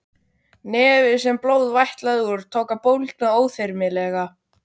Nefið, sem blóð vætlaði úr, tók að bólgna óþyrmilega.